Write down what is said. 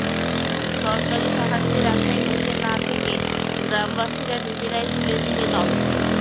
সরকারি সাহায্যের আশায় বসে না থেকে গ্রামবাসীরা নিজেরাই তুলে দিলেন অর্থ